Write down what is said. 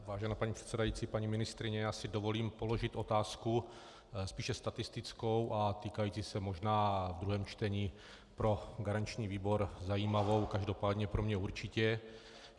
Vážená paní předsedající, paní ministryně, já si dovolím položit otázku spíše statistickou a týkající se možná v druhém čtení pro garanční výbor zajímavou, každopádně pro mě určitě.